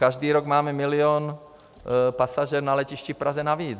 Každý rok máme milion pasažérů na letišti v Praze navíc.